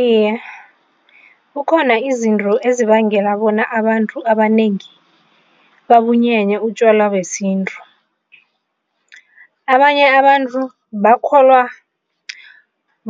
Iye, kukhona izinto ezibangela bona abantu abanengi babunyenye utjwala besintu. Abanye abantu bakholwa